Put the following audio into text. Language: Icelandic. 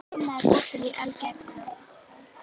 Lilla, er opið í Ölgerðinni?